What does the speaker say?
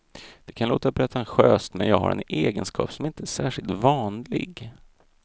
Det kan låta pretentiöst men jag har en egenskap som inte är särskilt vanlig.